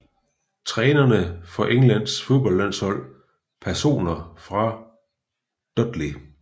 Trænere for Englands fodboldlandshold Personer fra Dudley